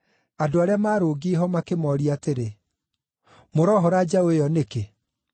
andũ arĩa maarũngiĩ ho makĩmooria atĩrĩ, “Mũrohora njaũ ĩyo nĩkĩ?”